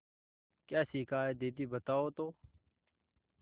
क्या सीखा है दीदी बताओ तो